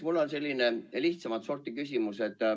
Mul on selline lihtsamat sorti küsimus.